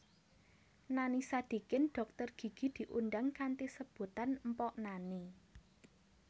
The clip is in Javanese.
Nani Sadikin dhokter gigi diundang kanthi sebutan Mpok Nani